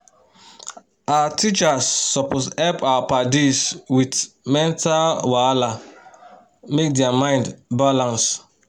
our teachers supos hep our padis with mental wahala make dia mind balance